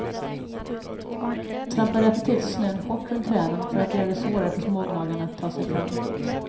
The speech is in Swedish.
Trampa därför till snön hårt runt träden för att göra det svårare för smågnagarna att ta sig fram.